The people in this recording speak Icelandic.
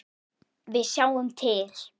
Við sjáum til.